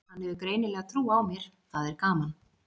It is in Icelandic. Hann hefur greinilega trú á mér, það er gaman.